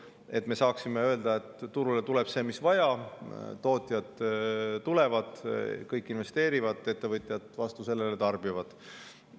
Siis me saaksime öelda, et turule tuleb see, mis vaja – tootjad tulevad, kõik investeerivad, ettevõtjad tarbivad.